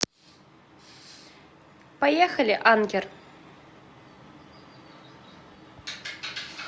поехали анкер